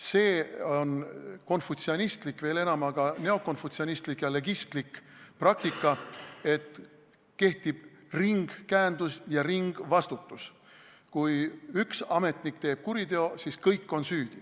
See on konfutsionistlik, veel enam aga neokonfutsionistlik ja legistlik praktika, et kehtib ringkäendus ja ringvastutus: kui üks ametnik paneb toime kuriteo, siis on kõik süüdi.